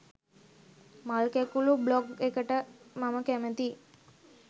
මල් කැකුලු බ්ලොග් එකට මම කැමතියි.